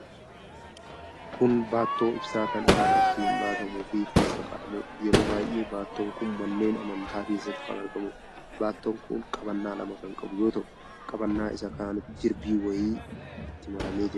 Kun baattoo ibsaa kan ifaan ittiin baatamuufi keessa kaa'amudha. Yeroo baay'ee baattoon kun manneen amantaa keessatti kan argamuudha. Baattoon kun qabannaa lama kan qabu yoo ta'u, qabannaa isaa kanatti jirbiin wayii itti maramee jira.